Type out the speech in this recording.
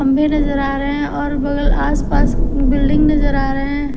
नजर आ रहे हैं और बगल आस पास बिल्डिंग नजर आ रहे --